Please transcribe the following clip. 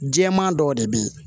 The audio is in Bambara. Jɛman dɔw de be yen